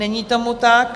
Není tomu tak.